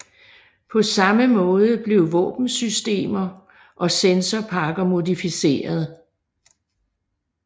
På samme måde blev våbensystemer og sensorpakker modificeret